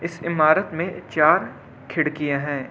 इस इमारत में चार खिड़कियां हैं।